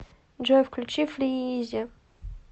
джой включи фрииизе